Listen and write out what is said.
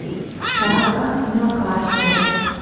сата на карте